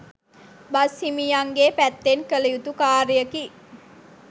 Bus හිමියන්ගේ පැත්තෙන් කලයුතු කාර්යකි.